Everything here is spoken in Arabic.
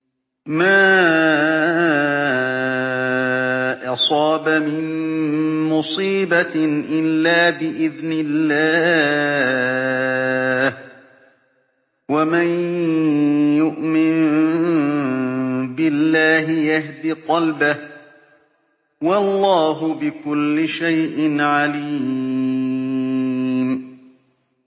مَا أَصَابَ مِن مُّصِيبَةٍ إِلَّا بِإِذْنِ اللَّهِ ۗ وَمَن يُؤْمِن بِاللَّهِ يَهْدِ قَلْبَهُ ۚ وَاللَّهُ بِكُلِّ شَيْءٍ عَلِيمٌ